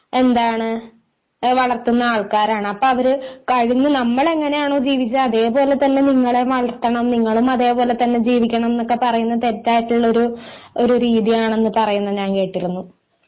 എന്താണ് വളർത്തുന്ന ആൾക്കാരാണ് അപ്പോ അവര് കഴിഞ്ഞ നമ്മള് എങ്ങനെയാണോ ജീവിച്ചേ അതേ പോലെ തന്നെ നിങ്ങളെ വളർത്തണം നിങ്ങളും അതേ പോലെ തന്നെ ജീവിക്കണം എന്നൊക്കെ പറയുന്നത് തെറ്റായിട്ടുള്ള ഒരു ഒരു രീതിയാണെന്ന് പറയുന്നത് ഞാൻ കേട്ടിരുന്നു